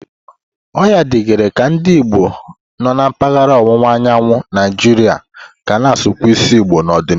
O yikarịghị ka ndị Igbo nọ na mpaghara ọwụwa anyanwụ Naijiria ga-akwụsị ịsụ Igbo n'ọdịnihu.